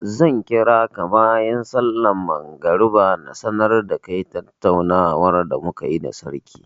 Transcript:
Zan kira ka bayan sallar magriba na sanar da kai tattaunawar da mu ka yi da sarki.